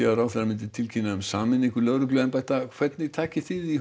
að ráðherra myndi tilkynna sameiningu lögregluembætta hvernig takið þið í